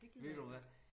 Ved du hvad